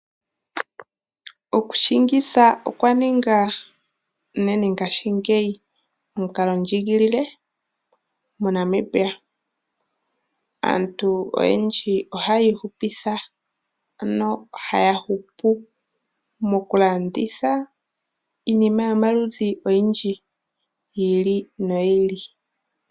Okushingitha okwa ninga, unene ngashingeyi omukalondjiigilile moNamibia. Aantu oyendji ohaa ihupitha, ano ohaya hupu, mokulanditha iinima yomaludhi oyindji, yi ili noyi ili.